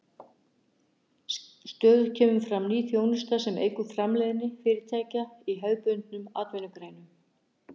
Stöðugt kemur fram ný þjónusta sem eykur framleiðni fyrirtækja í hefðbundnum atvinnugreinum.